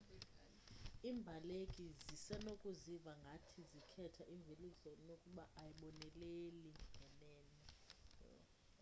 iimbaleki zisenokuziva ngathi zikhetha imveliso nokuba ayiboneleli ngenene